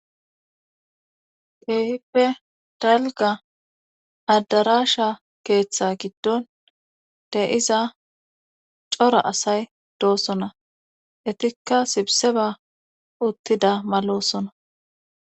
keehippe dalga addarasha keeththe giddon de7iza cora asay doosona etikka sibse ba uttida malosona